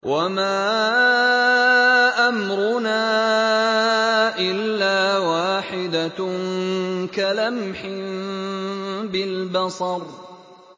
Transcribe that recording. وَمَا أَمْرُنَا إِلَّا وَاحِدَةٌ كَلَمْحٍ بِالْبَصَرِ